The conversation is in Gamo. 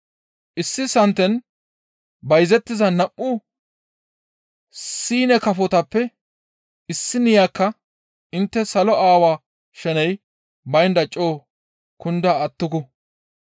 Issi santen bayzettiza nam7u siine kafotappe issiniyakka intte salo Aawaa sheney baynda coo kunda attuku.